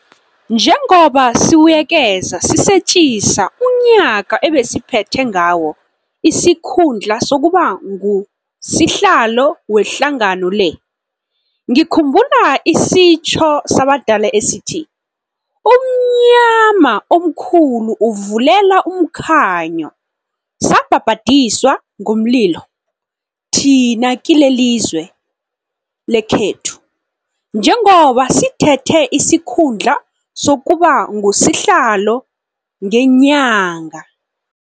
Njengoba sibuyekeza sisetjisa umnyaka ebesiphethe ngawo isikhundla sokuba nguSihlalo wehlangano le, ngikhumbula isitjho sabadala esithi, 'umnyama omkhulu uvulela umkhanyo' Sabhabhadiswa ngomli lo thina kilelizwe l ekhethu, njengoba sithethe isikhundla sokuba nguSihlalo ngenyanga